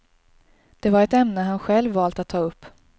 Det var ett ämne han själv valt att ta upp.